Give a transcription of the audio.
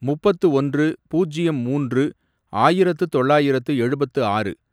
முப்பத்து ஒன்று, பூஜ்யம் மூன்று, ஆயிரத்து தொள்ளாயிரத்து எழுபத்து ஆறு